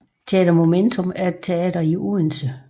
Teater Momentum er et teater i Odense